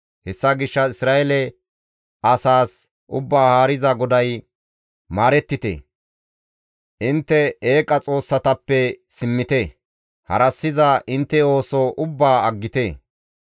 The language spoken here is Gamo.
«Hessa gishshas Isra7eele asaas, ‹Ubbaa Haariza GODAY: Maarettite! Intte eeqa xoossatappe simmite! Harassiza intte ooso ubbaa aggite!